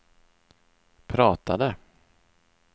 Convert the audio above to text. pratade